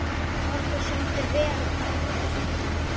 Okkur samdi vel æ síðan.